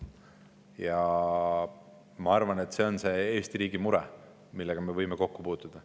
Ja ma arvan, et see on Eesti riigi mure, millega me võime kokku puutuda.